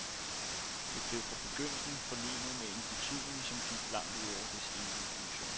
Det blev fra begyndelsen forlenet med en betydning, som gik langt ud over dets egentlige funktion.